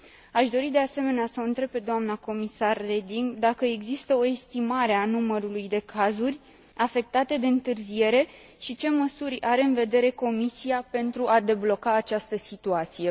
Aș dori, de asemenea, să o întreb pe doamna comisar Reding dacă există o estimare a numărului de cazuri afectate de întârziere și ce măsuri are în vedere Comisia pentru a debloca această situație.